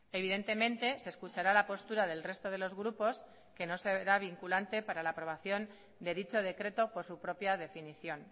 evidentemente se escuchará la postura del resto de los grupos que no se verá vinculante para la aprobación de dicho decreto por su propia definición